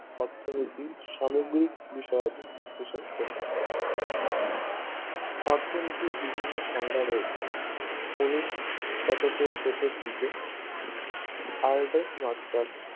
অর্থনীতি সামগ্রিক বিষয়দিন বিশ্লেষণ করে থাকে অর্থনীতি বিভিন্ন সংজ্ঞা রয়েছে উনিশ শতকের শেষের দিকে অর্ডার মার্শাল